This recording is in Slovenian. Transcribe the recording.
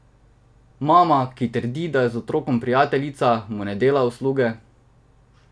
Mama, ki trdi, da je z otrokom prijateljica, mu ne dela usluge.